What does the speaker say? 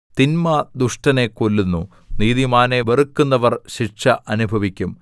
തിന്മ ദുഷ്ടനെ കൊല്ലുന്നു നീതിമാനെ വെറുക്കുന്നവർ ശിക്ഷ അനുഭവിക്കും